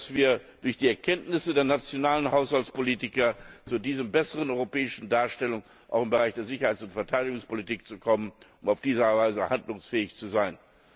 Wir müssen durch die Erkenntnisse der nationalen Haushaltspolitiker zu dieser besseren europäischen Darstellung auch im Bereich der Sicherheits und Verteidigungspolitik kommen, um auf diese Weise handlungsfähig zu sein.